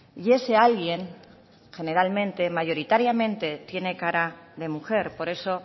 y ese alguien generalmente mayoritariamente tiene cara de mujer por eso